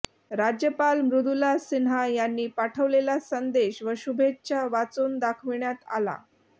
राज्यपाल मृदुला सिन्हा यांनी पाठविलेला संदेश व शुभेच्छा वाचून दाखविण्यात आल्या